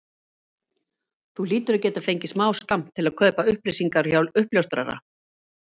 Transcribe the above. Þú hlýtur að geta fengið smáskammt til að kaupa upplýsingar hjá uppljóstrara?